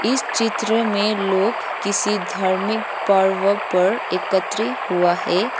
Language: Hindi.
इस चित्र मे लोग किसी धर्मिक पर्व पर एकत्रि हुआ है।